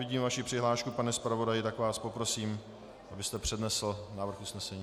Vidím vaši přihlášku, pane zpravodaji, tak vás poprosím, abyste přednesl návrh usnesení.